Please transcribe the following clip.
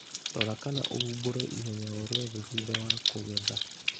Rora kana ũhumbũre ihenya o rĩothe thutha wa kũgetha.